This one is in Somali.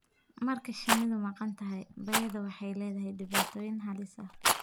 Marka shinnidu maqan tahay, bay'ada waxay leedahay dhibaatooyin halis ah.